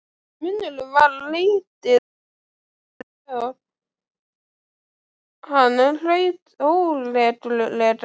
Munnurinn var lítið eitt opinn og hann hraut óreglulega.